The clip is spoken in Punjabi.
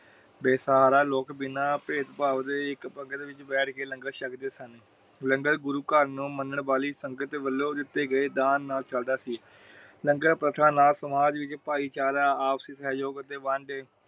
ਬੇਹਸਹਾਰਾ ਲੋਕ ਬਿਨਾ ਭੇਦ ਭਾਬ ਦੇ ਇਕ ਪਗਰ ਵਿਚ ਬੈਠ ਕੇ ਲੰਗਰ ਸ਼ਕਦੇ ਸਨ। ਲੰਗਰ ਗੁਰੂ ਘਰ ਨੂੰ ਮਨਣ ਵਾਲੀ ਸੰਗਤ ਵਲੋਂ ਦਿਤੇ ਗਏ ਦਾਨ ਨਾਲ ਚੱਲਦਾ ਸੀ। ਲੰਗਰ ਪ੍ਰਸ਼ਾਦ ਨਾਲ ਭਾਈਚਾਰਾ ਆਪਸੀ ਸਹਿਯੋਗ ਦੇ ਵੰਡੇ